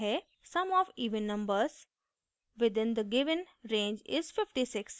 sum of even numbers within the given range is 56